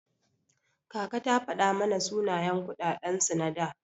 Kaka ta fada mana sunayen kuɗaɗen su na da.